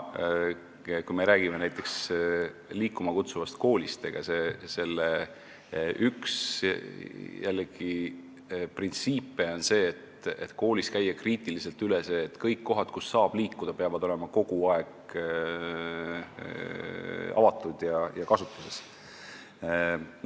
Kui me räägime näiteks "Liikuma kutsuvast koolist", siis selle üks printsiipe on jällegi see, et koolid tuleb kriitiliselt üle käia: kõik kohad, kus saab liikuda, peavad olema kogu aeg avatud ja kasutuses.